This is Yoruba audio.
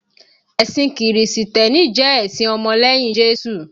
Ẹ̀sìn kìrìsìtẹ́nì jẹ́ ẹ̀sìn ọmọ lẹ́yìn Jésù